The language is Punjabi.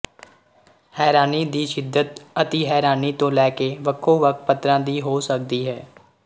ਹੈਰਾਨੀ ਦੀ ਸ਼ਿੱਦਤ ਅਤਿਹੈਰਾਨੀ ਤੋਂ ਲੈ ਕੇ ਵੱਖੋਵੱਖ ਪੱਧਰਾਂ ਦੀ ਹੋ ਸਕਦੀ ਹੈ